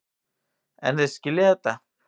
En þeir skilja þetta.